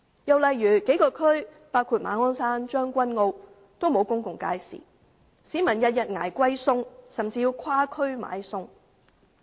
又例如一些地區，包括馬鞍山和將軍澳，均沒有公共街市，市民天天"捱貴菜"，甚至要跨區買菜。